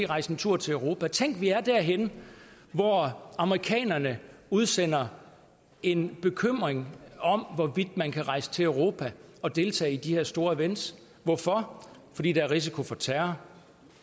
rejse en tur til europa tænk vi er derhenne hvor amerikanerne udsender en bekymring om hvorvidt man kan rejse til europa og deltage i de her store events hvorfor fordi der er risiko for terror